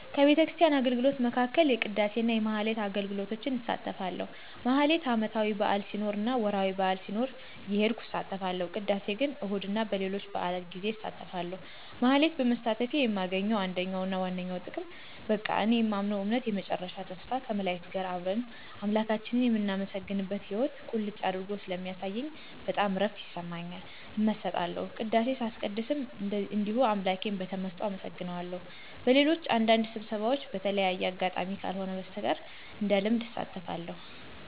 ከቤተክርስቲያን አገልግሎቶች መካከል የቅዳሴ እና የማኅሌት አገልግሎቶች እሳተፋለሁ። ማኅሌት ዓመታዊ በዓል ሲኖር እና ወርኃዊ በዓል ሲኖር እየሄድኩ እሳተፋለሁ። ቅዳሴ ግን እሁድ እና በሌሎች በዓላት ጌዜ አሳተፋለሁ። ማኅሌት በመሳተፌ የማገኘው አንደኛውና ዋነኛው ጥቅም በቃ እኔ የማምነውን እምነት የመጨረሻ ተስፋ ከመላእክት ጋር አብረን አምላካችንን የምናመሰግንበትን ሕይዎት ቁልጭ አድርጎ ስለሚያሳየኝ በጣም እረፍት ይሰማኛል። እመሰጣለሁ። ቅዳሴ ሳስቀድስም እንደዚሁ አምላኬን በተመሰጦ አመሰግነዋለሁ። በሌሎች አንዳንድ ስብሰባዎች በተለየ አጋጣሚ ካልሆነ በስተቀር እንደልምድ አልሳተፍም።